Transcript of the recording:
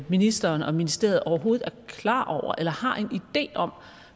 ministeren og ministeriet overhovedet er klar over eller har en idé om